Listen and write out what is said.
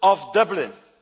Dublin system.